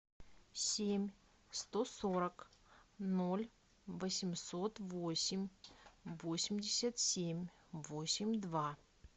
семь сто сорок ноль восемьсот восемь восемьдесят семь восемь два